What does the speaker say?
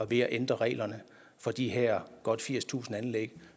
ved at ændre reglerne for de her godt firstusind anlæg